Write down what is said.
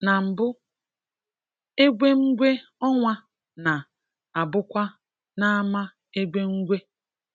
Na mbụ̀, egwè̩mgwè̩ ọnwa na-abụkwa n’ámà egwè̩mgwè̩